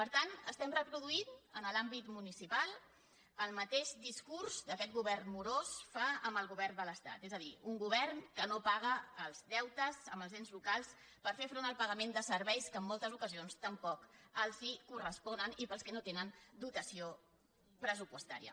per tant estem reproduint en l’àmbit municipal el ma·teix discurs que aquest govern morós fa amb el go·vern de l’estat és a dir un govern que no paga els deutes amb els ens locals per fer front al pagament de serveis que en moltes ocasions tampoc els correspo·nen i per als quals no tenen dotació pressupostària